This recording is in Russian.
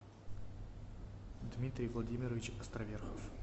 дмитрий владимирович островерхов